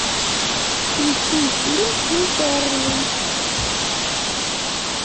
включи фильм интерны